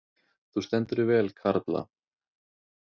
Þú stendur þig vel, Karla!